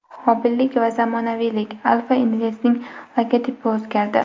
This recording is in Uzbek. Mobillik va zamonaviylik: Alfa Invest’ning logotipi o‘zgardi.